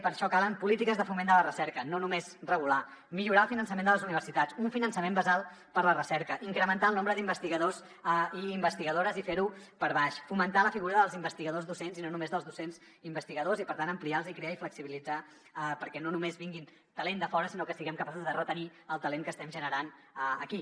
per això calen polítiques de foment de la recerca no només regular millorar el finançament de les universitats un finançament basal per la recerca incrementar el nombre d’investigadors i investigadores i fer ho per baix fomentar la figura dels investigadors docents i no només dels docents investigadors i per tant ampliar els icrea i flexibilitzar perquè no només vingui talent de fora sinó que siguem capaços de retenir el talent que estem generant aquí